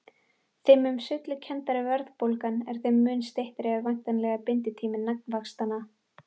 Þeim mun sveiflukenndari verðbólgan er þeim mun styttri er væntanlega binditími nafnvaxtanna.